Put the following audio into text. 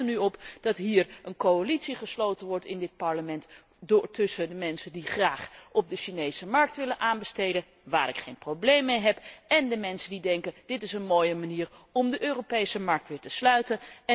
En het lijkt er nu op dat hier in dit Parlement een coalitie gesloten wordt tussen de mensen die graag op de Chinese markt willen aanbesteden waar ik geen probleem mee heb en de mensen die denken dit is een mooie manier om de Europese markt weer te sluiten.